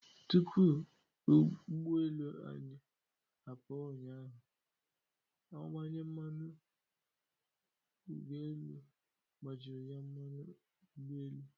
Tupu ụgbọ elu anyị apụọ ụnyaahụ, ọgbanye mmanụ ụgbgọelu gbajuru ya mmanụ ụgbọelu.